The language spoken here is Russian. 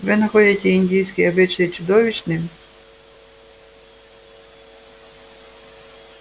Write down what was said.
вы находите индийский обычай чудовищным